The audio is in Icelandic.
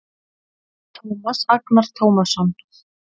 Tómas Agnar Tómasson